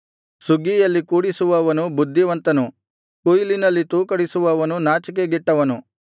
ಸುಗ್ಗಿಯಲ್ಲಿ ಕೂಡಿಸುವವನು ಬುದ್ಧಿವಂತನು ಕೊಯ್ಲಿನಲ್ಲಿ ತೂಕಡಿಸುವವನು ನಾಚಿಕೆಗೆಟ್ಟವನು